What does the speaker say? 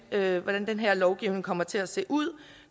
at vide hvordan den her lovgivning kommer til at se ud